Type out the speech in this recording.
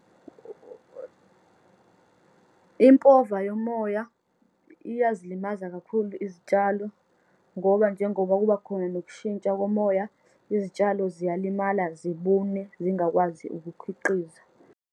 Impova yomoya iyazilimaza kakhulu izitshalo, ngoba njengoba kubakhona nokushintsha komoya, izitshalo ziyalimala, zibune, zingakwazi ukukhiqiza.